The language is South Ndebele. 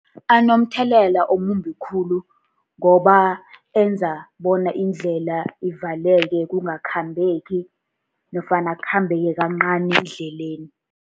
Anomthelela omumbi khulu, ngoba enza bona indlela ivaleke. Kungakhambeki, nofana kukhambeke kancani endleleni.